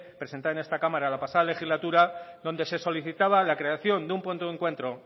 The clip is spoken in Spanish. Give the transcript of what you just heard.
presentada en esta cámara la pasada legislatura donde se solicitaba la creación de un punto de encuentro